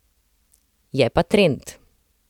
Je pa trend.